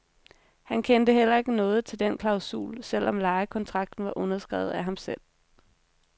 Han kendte heller ikke noget til den klausul, selv om lejekontrakten var underskrevet af ham selv.